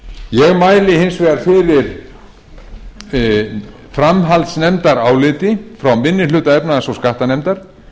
ég mæli hins vegar fyrir framhaldsnefndaráliti frá minni hluta efnahags og skattanefndar